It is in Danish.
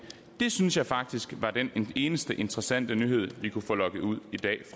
synes jeg faktisk var den eneste interessante nyhed vi kunne få lokket ud